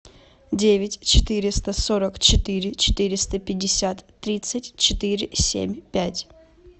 девять четыреста сорок четыре четыреста пятьдесят тридцать четыре семь пять